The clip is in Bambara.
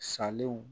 Salenw